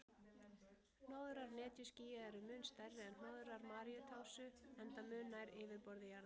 Hnoðrar netjuskýja eru mun stærri en hnoðrar maríutásu, enda mun nær yfirborði jarðar.